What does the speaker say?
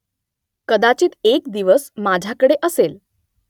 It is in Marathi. कदाचित एक दिवस माझ्याकडे असेल